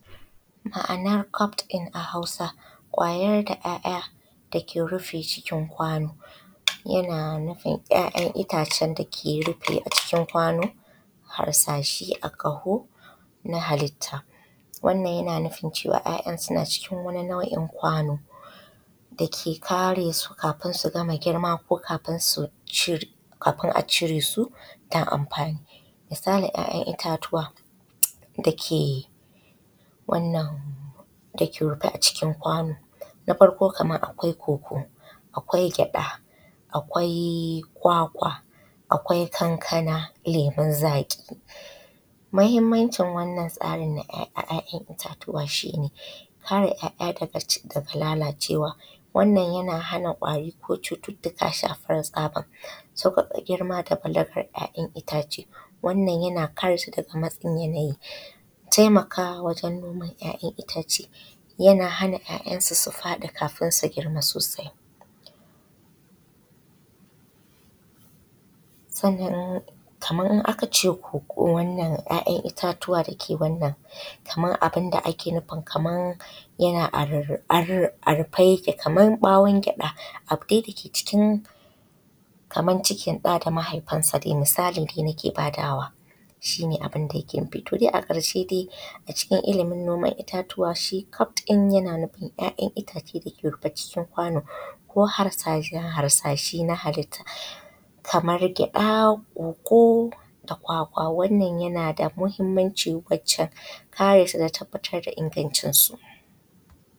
Ma’anar da hausa da ‘ya’ya’ dake rufe jikin kwano. Yana nufin ‘ya’yan’ ittacen dake rufe jikin kwano harsashe a ƙaho na halitta. Wannan yana nufin cewa ‘ya’ya’ suna cikin wani nau’in kwano dake kare su kafin su gama girma ko kafin su cir kafin a ciresu dan ampani. Misalin ‘ya’yan’ itatuwa dake wannan dake rufe a cikin kwano na farko kamar akwai koko, akwai gyaɗa, akwai kwakwa, akwai kankana, lemun zaƙi. Mahimmancin wannan tsarin na ‘ya’ya‘ya’yan’ itatuwa shine kare ‘ya’yan’ ittatuwa daga cigaba da lalacewa wannan yana hana kwari ko cututtuka shafar tsaban. Saukaƙa girma da fiddakan ‘ya’yan’ ittace wannan yana kare shi daga matsin yanayi. Taimakamawajen ɗaukan ‘ya’yan’ itace yana hana ‘ya’ya’su su faɗi kafin sun girma sosai. Sannan in kaman in akace koko wannan ‘ya’yan’ itatuwa dake wannan kaman abunda ake nufi Kaman yana a rurrupe a rupe yake Kaman ɓawon gyaɗa abu dai dake cikin Kaman cikin ɗa da mahaifin sa misali dai nake badawa shine abinda yake nufi. to a ƙarshe dai a cikin illimin noman ‘ya’yan’ itatuwa shi yana nufin su fito a jikin kwano ko harsashe harsashe na halitta kamar gyaɗa koko da kwakwa wannan yana da mahimmanci wancen karesu dan tabbatar da ingancin su.